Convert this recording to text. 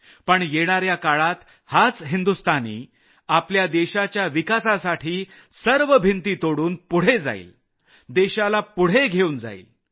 पण येणाऱ्या काळात हाच भारतीय आपल्या देशाच्या विकासासाठी सर्व भिंती तोडून पुढे जाईल देशाला पुढे घेऊन जाईल